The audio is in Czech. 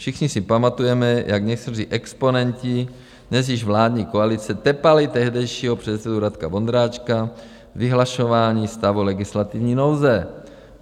Všichni si pamatujeme, jak někteří exponenti dnes již vládní koalice tepali tehdejšího předsedu Radka Vondráčka k vyhlašování stavu legislativní nouze.